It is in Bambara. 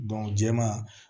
jɛman